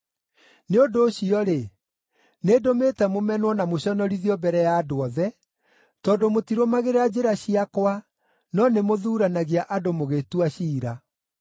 “Nĩ ũndũ ũcio-rĩ, nĩndũmĩte mũmenwo na mũconorithio mbere ya andũ othe, tondũ mũtirũmagĩrĩra njĩra ciakwa no nĩmũthuuranagia andũ mũgĩtua ciira.”